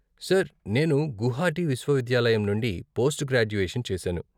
Sir, నేను గుహాటీ విశ్వవిద్యాలయం నుండి పోస్ట్ గ్రాడ్యుయేషన్ చేశాను.